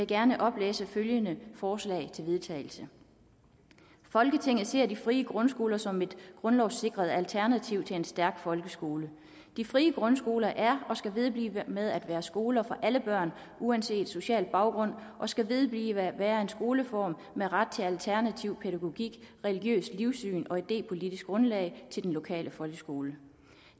gerne oplæse følgende forslag til vedtagelse folketinget ser de frie grundskoler som et grundlovssikret alternativ til en stærk folkeskole de frie grundskoler er og skal vedblive med at være skoler for alle børn uanset social baggrund og skal vedblive at være en skoleform med ret til alternativ pædagogik religiøst livssyn og idepolitisk grundlag til den lokale folkeskole